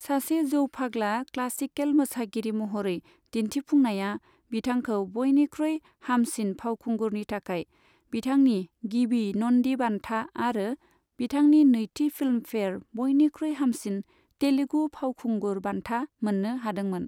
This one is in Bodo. सासे जौफाग्ला क्लासिकेल मोसागिरि महरै दिन्थिफुंनाया बिथांखौ बयनिख्रुइ हामसिन फावखुंगुरनि थाखाय बिथांनि गिबि नन्दि बान्था आरो बिथांनि नैथि फिल्मफेयार बयनिख्रुइ हामसिन तेलुगु फावखुंगुर बान्था मोननो हादोंमोन।